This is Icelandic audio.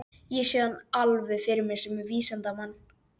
Þessir síðustu frasar runnu upp úr henni eins og bænaþulur.